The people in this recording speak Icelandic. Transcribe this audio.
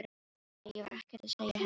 Nei, ég var ekkert að segja henni neitt.